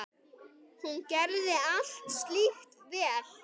Hún gerði allt slíkt vel.